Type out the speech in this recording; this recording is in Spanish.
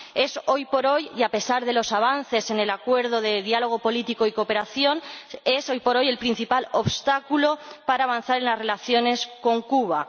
es hoy por hoy, y a pesar de los avances en el Acuerdo de diálogo político y cooperación, el principal obstáculo para avanzar en las relaciones con Cuba.